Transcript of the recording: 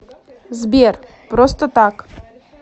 сбер просто так